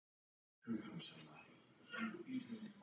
Til allrar hamingju söng hann vel!